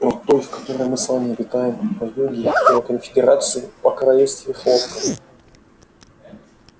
о той в которой мы с вами обитаем о юге и о конфедерации о королевстве хлопка